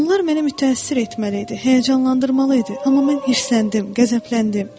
Onlar məni mütəəssir etməli idi, həyəcanlandırmalı idi, amma mən hirsləndim, qəzəbləndim.